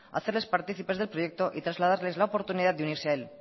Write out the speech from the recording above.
hacerles partícipes del proyecto y trasladarles la oportunidad de unirse a él